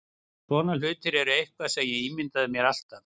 Svona hlutir eru eitthvað sem ég ímyndaði mér alltaf.